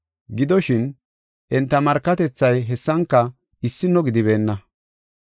Gidoshin, enta markatethay hessanka issino gidibeenna.